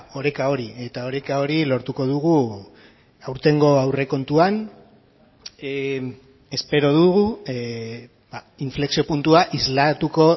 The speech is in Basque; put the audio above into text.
oreka hori eta oreka hori lortuko dugu aurtengo aurrekontuan espero dugu inflexio puntua islatuko